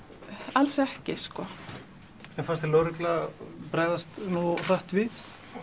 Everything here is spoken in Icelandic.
alls ekki sko en fannst þér lögregla bregðast nógu hratt við